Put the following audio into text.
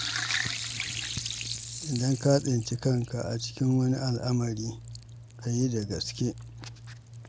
Idan ka tsinci kanka a cikin wani al'amari to ka yi da gaske.